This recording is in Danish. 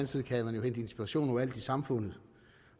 side kan man jo hente inspiration overalt i samfundet